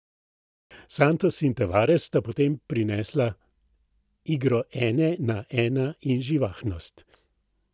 Santos in Tavares sta potem prinesla igro ena na ena in živahnost.